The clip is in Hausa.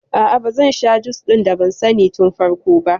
A'a bazan sha jus ɗin da ban sani tun farko ba